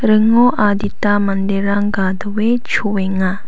ringo adita manderang gadoe choenga.